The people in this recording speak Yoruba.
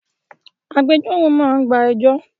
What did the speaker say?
Agbẹjọ́rò máa gba ẹjọ́